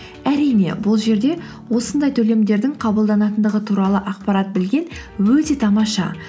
әрине бұл жерде осындай төлемдердің қабылданатындығы туралы ақпарат білген өте тамаша